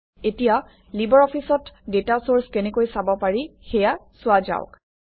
এতিয়া লিবাৰঅফিছত data search কেনেকৈ চাব পাৰি সেয়া চোৱা যাওক